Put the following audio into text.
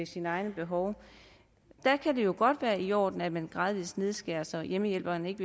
sine egne behov her kan det godt være i orden at man gradvis nedskærer så hjemmehjælperen ikke